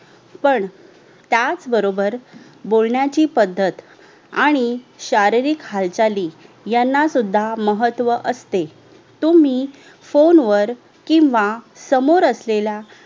पण त्याच बरोबर बोलण्याची पद्धत आणि शारीरिक हालचाली यांना सुध्दा महत्व असते तुम्ही फोनवर किव्हा समोरअसलेल्या